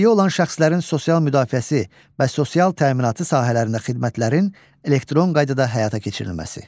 Əlilliyi olan şəxslərin sosial müdafiəsi və sosial təminatı sahələrində xidmətlərin elektron qaydada həyata keçirilməsi.